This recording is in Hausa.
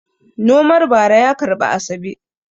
Nomar bara ya karbi Asabe.